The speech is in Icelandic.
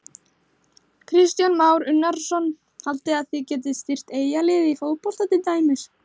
Kristján Már Unnarsson: Haldið þið að þið getið styrkt Eyjaliðið í fótbolta til dæmis?